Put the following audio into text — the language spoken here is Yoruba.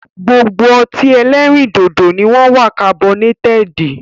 Gbogbo ọtí ẹlẹ́rìndòdò ni wọn wá kabọnétẹ́ẹ́di